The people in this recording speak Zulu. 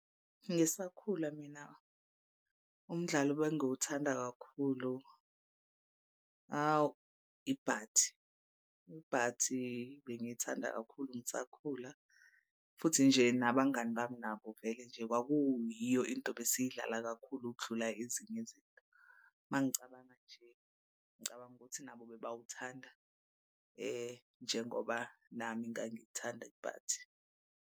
Ngisakhula mina umdlalo bengiwuthanda kakhulu ibhathi. Ibhathi bengithanda kakhulu ngisakhula futhi nje nabangani bami nabo vele nje kwakuyiyo into ebesiyidlala kakhulu ukudlula ezinye izinto. Uma ngicabanga nje ngicabanga ukuthi nabo bebawuthanda njengoba nami ngangikuthanda ibhathi.